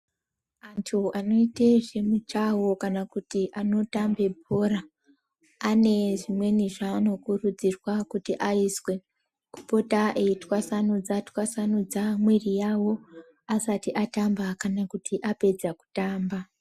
Anthu anoite zvemujaho kana kuti anotambe bhora ane zvimweni zvaanokurudzirwa kuzi aizwe, kupota eitwasanudza twasanudza mwiri yawo asati atamba kana kuti apedza kutamba.